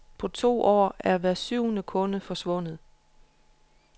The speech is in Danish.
På to år er hver syvende kunde forsvundet.